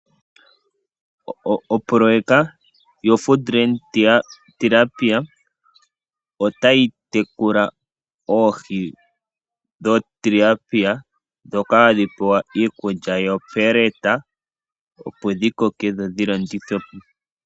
Opoloyeka yoFood Land Tilapia , otayi tekula oohi dho Tilapia ndhoka hadhi pewa iikulya yoPellet opo dhikoke, dho dhilandithwepo.